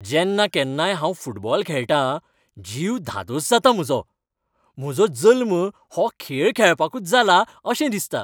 जेन्ना केन्नाय हांव फुटबॉल खेळटां, जीव धादोस जाता म्हजो. म्हजो जल्म हो खेळ खेळपाकच जाला अशें दिसता.